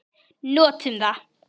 Notum það.